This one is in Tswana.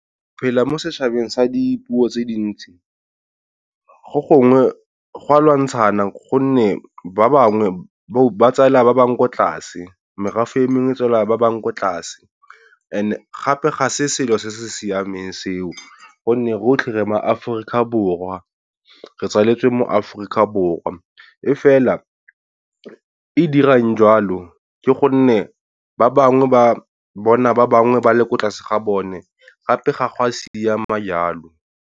Phela mo setšhabeng sa dipuo tse dintsi, go gongwe gwa lwantshana gonne ba bangwe ba tsela ba bangwe ko tlase. Merafe e mengwe tsela ba bangwe ko tlase and gape ga se selo se se siameng seo, gonne rotlhe re ma Aforika Borwa. Re tswaletswe mo Aforika Borwa e fela e dirang jwalo ke gonne ba bangwe ba bona ba bangwe ba le ko tlase ga bone gape ga go a siama jalo.